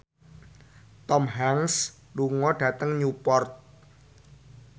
Tom Hanks lunga dhateng Newport